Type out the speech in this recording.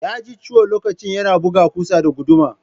He hurt his hand while using the Hammer to hit a nail.